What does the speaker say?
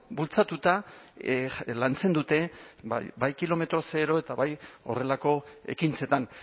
bultzatuta lantzen dute ba kilometro zero eta bai horrelako ekintzetan